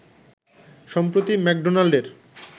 সম্প্রতি ম্যাকডোনাল্ডের